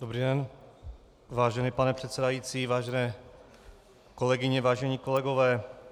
Dobrý den, vážený pane předsedající, vážené kolegyně, vážení kolegové.